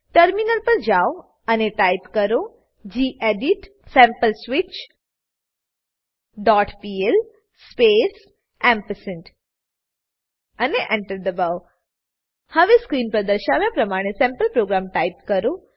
terminal જાઓ અને type કરો gedit sample switch dot PL space ampersand અને Enter દબાવો હવે સ્ક્રીન પર દર્શાવ્યા પ્રમાણે સેમ્પલ પ્રોગ્રામ ટાઈપ કરો